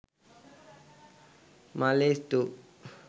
malee 2